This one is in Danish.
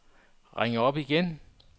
ring op igen